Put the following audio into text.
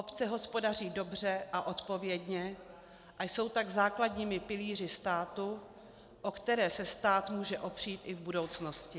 Obce hospodaří dobře a odpovědně, a jsou tak základními pilíři státu, o které se stát může opřít i v budoucnosti.